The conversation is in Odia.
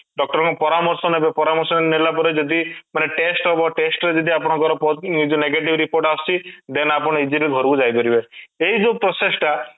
doctor ଙ୍କ ପରାମର୍ଶ ନେବେ ପରାମର୍ଶ ନେଲା ପରେ ଯଦି ମାନେ test ହବ test ଯଦି ଆପଣଙ୍କର ପ ମାନେ negative report ଆସୁଛି then ଆପଣ easily ଘରକୁ ଯାଇପାରିବେ ଏଇ ସବୁ process ଟା